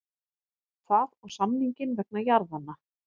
Það og samninginn vegna jarðanna.